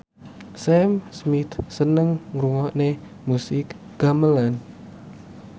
Sam Smith seneng ngrungokne musik gamelan